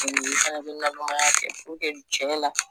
i fana bi nalomaya kɛ cɛ la